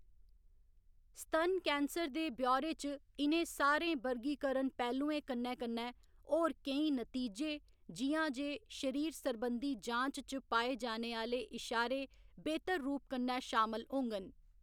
स्तन कैंसर दे ब्यौरे च इ'नें सारे वर्गीकरण पैह्‌लुएं कन्नै कन्नै होर केई नतीजे, जि'यां जे शरीर सरबंधी जांच च पाए जाने आह्‌‌‌ले इशारे बेह्तर रूप कन्नै शामल होङन।